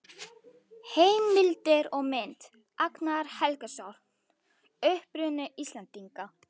Heimildir og mynd: Agnar Helgason: Uppruni Íslendinga.